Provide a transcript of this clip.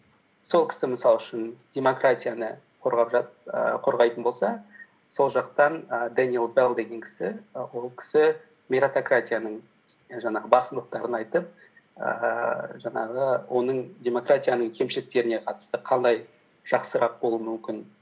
сол кісі мысал үшін демократияны ііі қорғайтын болса сол жақтан ііі дениэл белл деген кісі і ол кісі меритократияның жаңағы басындықтарын айтып ііі жаңағы оның демократияның кемшіліктеріне қатысты қалай жақсырақ болуы мүмкін